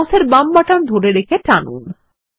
মাউসের বাম বাটন ধরে রেখে টানুন